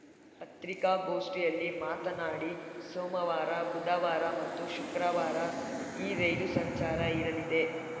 ಪತ್ರಿಕಾಗೋಷ್ಠಿಯಲ್ಲಿ ಮಾತನಾಡಿ ಸೋಮವಾರ ಬುಧವಾರ ಮತ್ತು ಶುಕ್ರವಾರ ಈ ರೈಲು ಸಂಚಾರ ಇರಲಿದೆ